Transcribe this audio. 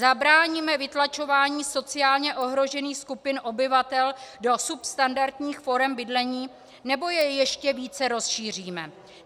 Zabráníme vytlačování sociálně ohrožených skupin obyvatel do substandardních forem bydlení, nebo je ještě více rozšíříme?